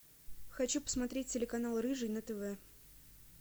хочу посмотреть телеканал рыжий на тв